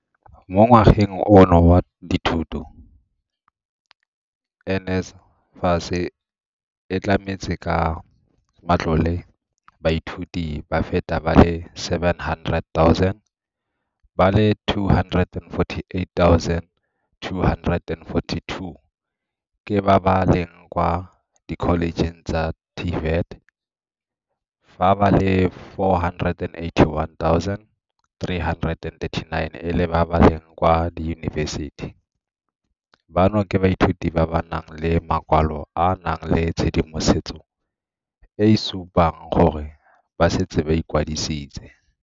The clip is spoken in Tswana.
Mo ngwageng ono wa dithuto, NSFAS e tlametse ka matlole baithuti ba feta ba le 700 000, ba le 248 242 ke ba ba leng kwa dikholejeng tsa TVET fa ba le 481 339 e le ba ba leng kwa diyunibesiti, bano ke baithuti ba ba nang le makwalo a a nang le tshedimosetso e e supang gore ba setse ba ikwadisitse.